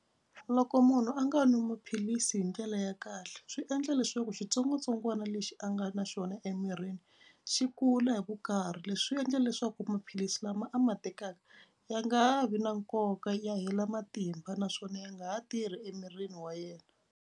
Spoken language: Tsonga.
Loko munhu a nga nwi maphilisi hi ndlela ya kahle swi endla leswaku xitsongwatsongwana lexi a nga na xona emirini xi kula hi vukarhi. Leswi swi endle leswaku maphilisi lama a ma tekaka ya nga ha vi na nkoka ya hela matimba naswona ya nga ha tirhi emirini wa yena.